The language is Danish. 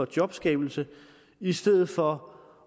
jobskabelse i stedet for